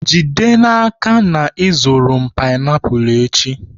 Jide n'aka na ị zụrụ m painiapulu echi!